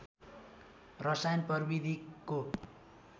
रसायन प्राविधिकको